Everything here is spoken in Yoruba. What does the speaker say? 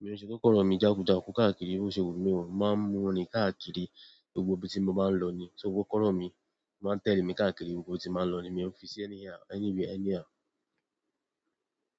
mi òun fi kọ́kọ́rọ́ mi jákùjáku káàkiri bí ó ṣe wù mí o. Màá ń mú un rìn káàkiri gbogbo ibi tí mo bá ń lọ ni. So kọ́kọ́rọ́ mi máa tẹ̀lé mi káàkiri gbogbo ibi tí m bá lọ ni. Mi òun fi sí anyhow, anywhere, anyhow.